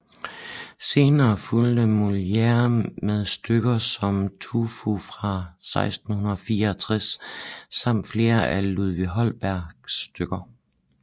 Senere fulgte Molière med stykker som Tartuffe fra 1664 samt flere af Ludvig Holbergs stykker